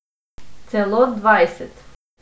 Celo dvajset.